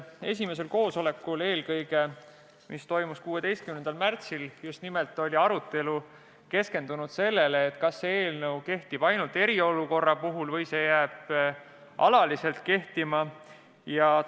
Esimesel koosolekul, mis toimus 16. märtsil, oli arutelu keskendunud eelkõige sellele, kas see eelnõu kehtib ainult eriolukorra puhul või jääb see kehtima alaliselt.